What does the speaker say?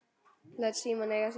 Læt símann eiga sig.